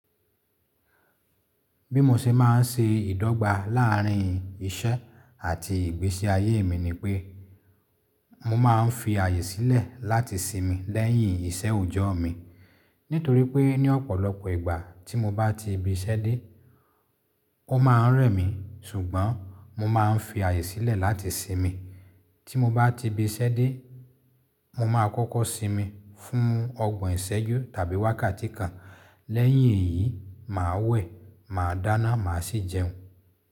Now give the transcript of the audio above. Bí mo ṣe máa ń ṣe ìdọ́gba láàrín iṣẹ́ àti ìgbésí ayé mi ni pé mo máa ń fi àyè sílẹ̀ láti sinmi lẹ́yìn iṣẹ́ òòjọ́ mi. Nítorí pé ní ọ̀pọ̀lọpọ̀ ìgbà tí mo bá ti ibiṣẹ́ dé, ó ma rẹ̀ mí ṣùgbọ́n mo máa ń fi àyè sílẹ̀ láti sinmi. Tí mo bá ti ibiṣẹ́ dé, mo máa kọ́kọ́ sinmi fún ọgbọ̀n ìṣẹ́jú tàbí wákàtí kan. Lẹ́yìn èyí, màá wẹ̀, màá dáná, màá sì jẹun.